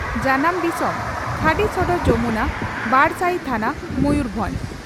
᱾ᱡᱟᱱᱟᱢ ᱫᱤᱥᱚᱢ ᱺ ᱠᱷᱟᱰᱤᱥᱚᱲ ᱡᱚᱢᱩᱱᱟ, ᱵᱟᱰᱥᱟᱭᱤ ᱛᱷᱟᱱᱟ, ᱢᱚᱭᱩᱨᱵᱷᱚᱸᱡᱽ ᱾